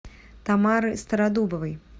тамары стародубовой